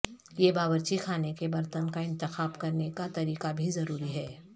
یہ باورچی خانے کے برتن کا انتخاب کرنے کا طریقہ بھی ضروری ہے